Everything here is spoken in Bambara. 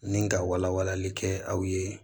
Ni ka wala walali kɛ aw ye